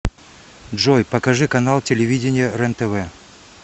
джой покажи канал телевидения рентв